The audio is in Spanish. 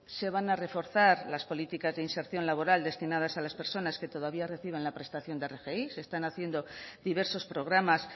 se van a reforzar las políticas de inserción laboral destinadas a las personas que todavía reciban la prestación de rgi se están haciendo diversos programas